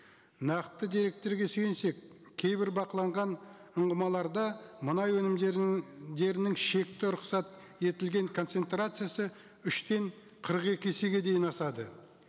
нақты деректерге сүйенсек кейбір бақыланған ұңғымаларда мұнай өнімдері шекті рұқсат етілген концентрациясы үштен қырық екі есеге дейін асады